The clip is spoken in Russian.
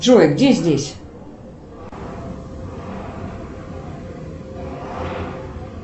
джой где здесь